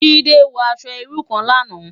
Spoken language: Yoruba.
Jimi wò aṣò irú kán làná